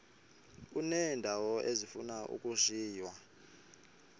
uneendawo ezifuna ukushiywa